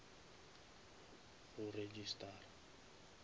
go registara